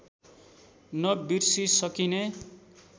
न बिर्सी सकिने